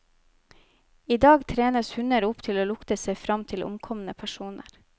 I dag trenes hunder opp til å lukte seg frem til omkomne personer.